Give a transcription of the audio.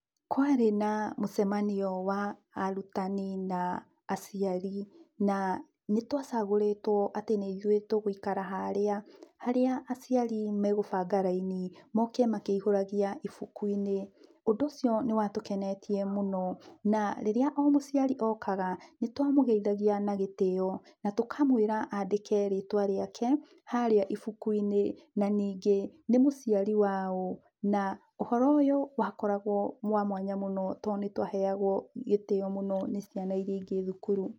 Kwarĩ na mũcemanio wa arutani na aciari na nĩ twacagũrĩtwo atĩ nĩ ĩthũĩ tũgũikara harĩa aciari me gũbanga laini moke makĩihũragĩa ĩbũku-inĩ. Ũndũ ũcio nĩ wa tukenetie mũno na rĩrĩa o mũciari o kaga nĩ twa mũgeĩthagia na gĩtĩio na tũkamwira aandĩke rĩtwa rĩake harĩa ibũku-inĩ na ningĩ nĩ mũciari waũ na ũhoro ũyũ wa koragwo wa mwanya mũno tondũ nĩ twaheagwo gĩtĩo mũno nĩ ciana iria ingĩ thukuru.